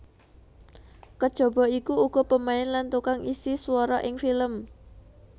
Kejaba iku uga pemain lan tukang isi swara ing film